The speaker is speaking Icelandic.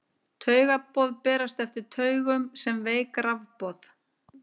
Taugaboð berast eftir taugum sem veik rafboð.